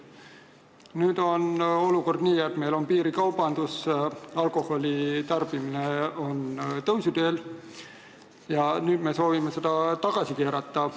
Nüüd on meil piirikaubandus, alkoholitarbimine on tõusuteel ja me soovime seda tagasi keerata.